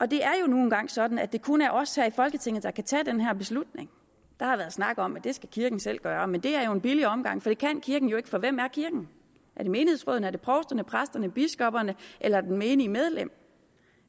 det er jo nu engang sådan at det kun er os her i folketinget der kan tage den her beslutning der har været snak om at det skal kirken selv gøre men det er jo en billig omgang for det kan kirken jo ikke for hvem er kirken er det menighedsrådene er det provsterne præsterne biskopperne eller det menige medlem